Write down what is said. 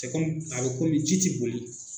Te kom a bɛ komi ji ti boli